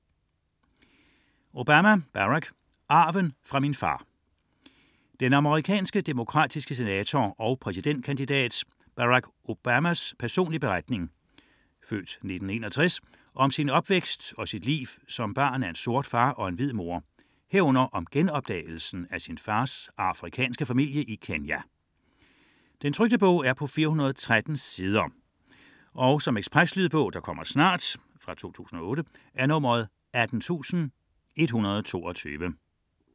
99.4 Obama, Barack Obama, Barack: Arven fra min far Den amerikanske demokratiske senator og præsidentkandidat Barack Obamas (f. 1961) personlige beretning om sin opvækst og sit liv som barn af en sort far og en hvid mor herunder om genopdagelsen af sin fars afrikanske familie i Kenya. 2008, 413 sider. Lydbog 18122 Ekspresbog - kommer snart